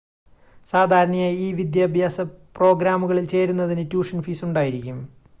സാധാരണയായി ഈ വിദ്യാഭ്യാസ പ്രോഗ്രാമുകളിൽ ചേരുന്നതിന് ട്യൂഷൻ ഫീസ് ഉണ്ടായിരിക്കും